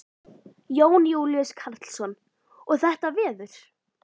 Jón Júlíus Karlsson: Og þetta veður?